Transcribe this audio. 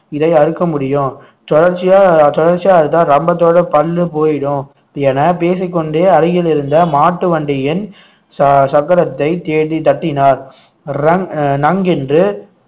இதை அறுக்க முடியும் தொடர்ச்சியா தொடர்ச்சியா அறுத்தா ரம்பத்தோட பல்லு போயிடும் என பேசிக் கொண்டே அருகில் இருந்த மாட்டு வண்டியின் ச~ சக்கரத்தை தேடி தட்டினார் ரங்~ அஹ் நங்கென்று